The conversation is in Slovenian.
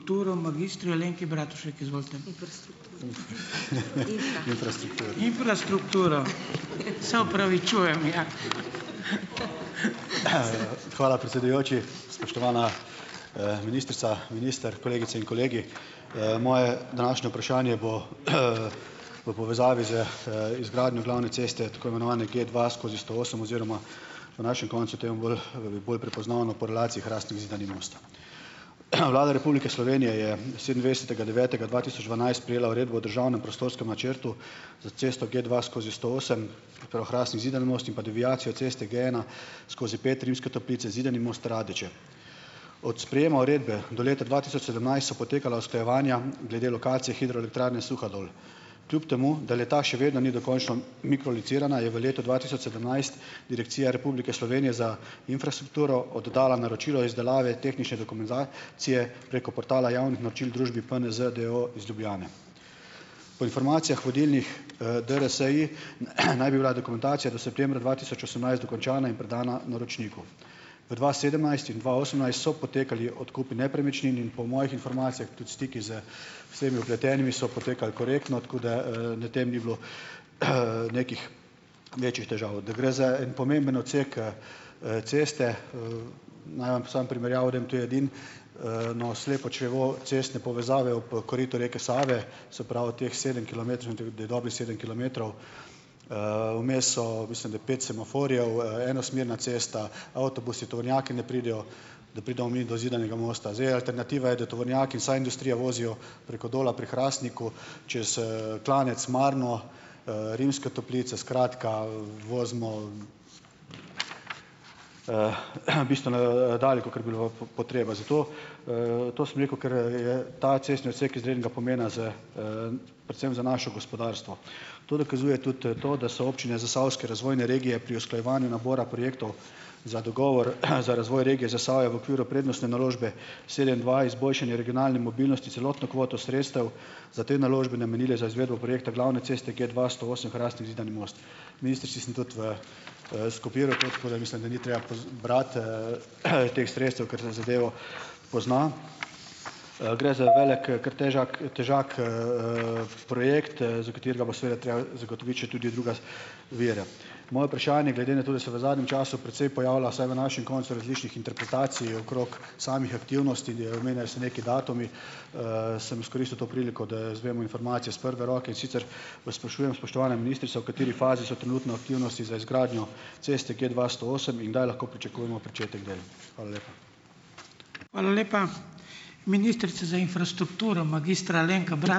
Hvala, predsedujoči, spoštovana, ministrica, minister, kolegice in kolegi! Moje današnje vprašanje bo v povezavi z, izgradnjo glavne ceste, tako imenovane Gdva skozi sto osem oziroma, v našem koncu je temu bolj, bolj prepoznavno po relaciji Hrastnik-Zidani Most. Vlada Republike Slovenije je sedemindvajsetega devetega dva tisoč dvanajst prejela uredbo o državnem prostorskem načrtu za cesto Gdva skozi sto osem, prav Hrastnik-Zidani Most in pa deviacijo ceste Gena skozi pet Rimske Toplice, Zidani Most, Radeče. Od sprejema uredbo do leta dva tisoč sedemnajst so potekala usklajevanja glede lokacije hidroelektrarne Suhadol. Kljub temu da le-ta še vedno ni dokončno mikrolocirana, je v letu dva tisoč sedemnajst Direkcija Republike Slovenije za infrastrukturo oddala naročilo izdelave tehnične dokumentacije preko portala javnih naročil družbi PNZ d. o. o. iz Ljubljane. Po informacijah vodilnih, DRSI, naj bi bila dokumentacija do septembra dva tisoč osemnajst dokončana in predana naročniku. V dva sedemnajst in dva osemnajst so potekali odkupi nepremičnin in po mojih informacijah tudi stiki z vsemi vpletenimi so potekali korektno, tako da, na tem ni bilo nekih večjih težav. Da gre za en pomemben odsek, ceste, naj vam samo primerjavo, to edino slepo črevo cestne povezave ob koritu reke Save, se pravi teh sedem da je dobrih sedem kilometrov, vmes so, mislim da, pet semaforjev, enosmerna cesta, avtobusi, tovornjaki ne pridejo, da pridemo mi do Zidanega Mosta. Zdaj, alternativa je, da tovornjaki, vsa industrija, vozijo preko Dola pri Hrastniku, čez, klanec Marno, Rimske Toplice. Skratka, vozimo bistveno, dalj, kakor bi bilo potreba. Zato, to sem rekel, ker, je ta cestni odsek izrednega pomena za predvsem za naše gospodarstvo. To dokazuje tudi, to, da so občine zasavske razvojne regije pri usklajevanju nabora projektov za dogovor za razvoj regije Zasavja v okviru prednostne naložbe sedem dva izboljšanje regionalne mobilnosti celotno kvoto sredstev za te naložbe namenile za izvedbo projekta glavne cesta Gdva sto osem Hrastnik — Zidani Most. Ministrici sem tudi v tako da mislim, da ni treba brat, teh sredstev, ker se zadev pozna. Gre za velik, kar težak težak projekt, za katerega bo seveda treba zagotoviti še tudi druga vire. Moje vprašanje, glede na to, da se v zadnjem času precej pojavlja, vsaj v našem koncu, različnih interpretacij okrog samih aktivnosti, omenjajo se neki datumi, sem izkoristil to priliko, da izvemo informacijo s prve roke, in sicer, vas sprašujem, spoštovana ministrica, v kateri fazi so trenutno aktivnosti za izgradnjo ceste Gdva sto osem in kdaj lahko pričakujemo pričetek del? Hvala lepa.